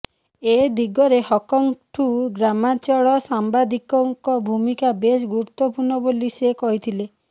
ଏ ଦିଗରେ ହକର୍ଙ୍କଠୁ ଗ୍ରାମାଞ୍ଚଳ ସାମ୍ବାଦିକଙ୍କ ଭୂମିକା ବେଶ୍ ଗୁରୁତ୍ୱପୂର୍ଣ୍ଣ ବୋଲି ସେ କହିଥିଲେ